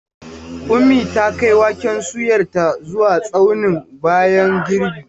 Ummi ta kai waken soyarta zuwa tsaunin bayan girbi.